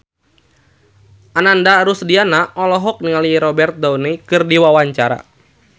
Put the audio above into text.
Ananda Rusdiana olohok ningali Robert Downey keur diwawancara